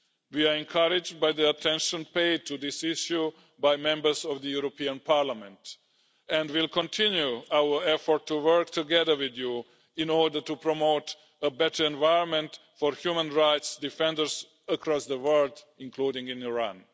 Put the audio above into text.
We are encouraged by the attention paid to this issue by Members of the European Parliament and we will continue our effort to work together with you in order to promote a better environment for human rights defenders across the world, including in Iran.